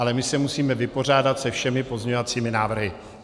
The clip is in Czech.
Ale my se musíme vypořádat se všemi pozměňovacími návrhy.